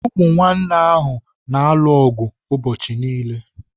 Umunne ahụ na-alu ọgụ ụbọchị niile.